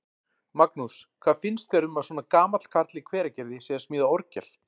Magnús: Hvað finnst þér um að svona gamall karl í Hveragerði sé að smíða orgel?